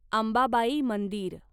अंबाबाई मंदिर